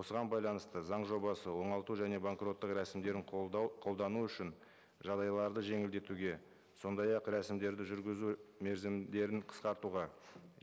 осыған байланысты заң жобасы оңалту және банкроттық рәсімдерін қолдау қолдану үшін жағдайларды жеңілдетуге сондай ақ рәсімдерді жүргізу мерзімдерін қысқартуға